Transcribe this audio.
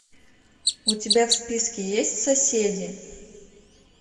у тебя в списке есть соседи